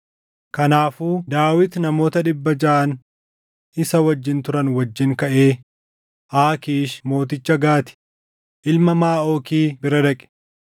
Kanaafuu Daawit namoota dhibba jaʼaan isa wajjin turan wajjin kaʼee Aakiish mooticha Gaati, ilma Maaʼooki bira dhaqe.